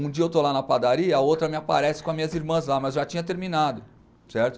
Um dia eu estou lá na padaria e a outra me aparece com as minhas irmãs lá, mas já tinha terminado, certo?